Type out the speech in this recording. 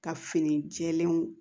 Ka fini jɛlenw